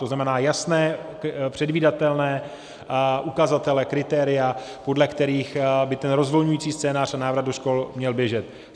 To znamená jasné, předvídatelné ukazatele, kritéria, podle kterých by ten rozvolňující scénář a návrat do škol měl běžet.